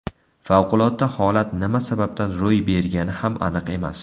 Favqulodda holat nima sababdan ro‘y bergani ham aniq emas.